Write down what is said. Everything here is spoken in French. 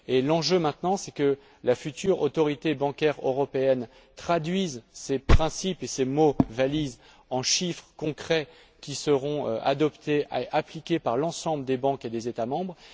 Et l'enjeu maintenant, c'est que la future Autorité bancaire européenne traduise ces principes et ces mots valises en chiffres concrets, qui seront appliqués par l'ensemble des banques et des États membres.